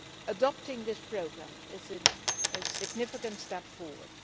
Adopting this programme is a significant step forward.